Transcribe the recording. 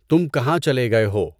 تُم کہاں چلے گئے ہو؟